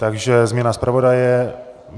Takže změna zpravodaje.